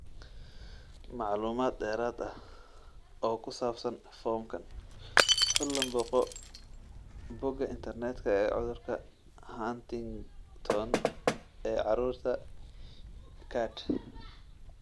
Macluumaad dheeraad ah oo ku saabsan foomkan, fadlan booqo bogga internetka ee cudurka Huntington ee carruurta GARD.